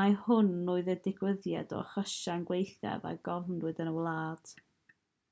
mai hwn oedd y digwyddiad o achosion gwaethaf a gofnodwyd yn y wlad